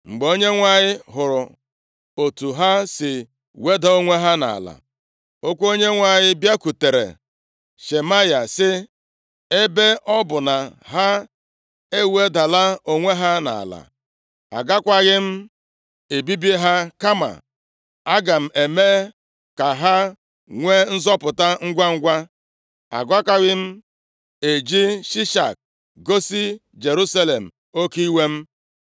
Mgbe Onyenwe anyị hụrụ otu ha si weda onwe ha nʼala, okwu Onyenwe anyị bịakwutere Shemaya, sị, “Ebe ọ bụ na ha ewedala onwe ha nʼala, agakwaghị m ebibi ha kama aga m eme ka ha nwe nzọpụta ngwangwa. Agakwaghị m eji Shishak gosi Jerusalem oke iwe m.